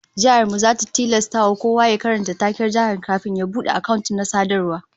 Jihar mu zata tilasta kowa ya karanta taken jihar kafin ya bude account na sadarwa